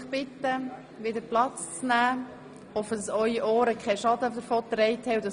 Ich bitte Sie nun, wieder Platz zu nehmen, und hoffe, dass Ihre Ohren keinen Schaden erlitten haben.